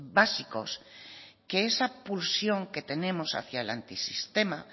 básicos que esa pulsión que tenemos hacia el antisistema